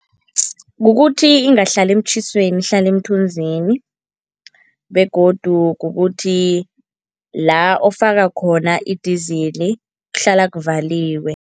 Kukuthi ingahlali emtjhisweni, ihlale emthunzini begodu kukuthi la ofaka khona idizili kuhlala kuvaliwe.